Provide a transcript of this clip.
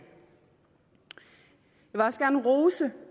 vil også gerne rose